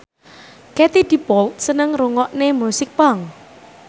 Katie Dippold seneng ngrungokne musik punk